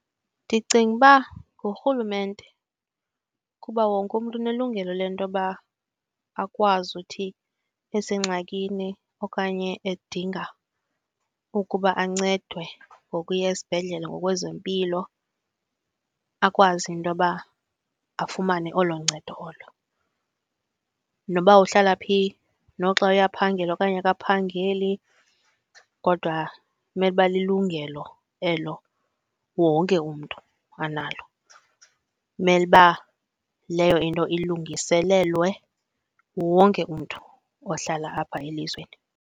Ndicinga uba ngurhulumente kuba wonke umntu unelungelo lentoba akwazi uthi esengxakini okanye edinga ukuba ancedwe ngokuya esibhedlele ngokwezempilo akwazi intoba afumane olo ncedo olo. Noba uhlala phi noxa uyaphangela okanye akaphangeli, kodwa kumele uba lilungelo elo wonke umntu analo. Imele uba leyo into ilungiselelwe wonke umntu ohlala apha elizweni.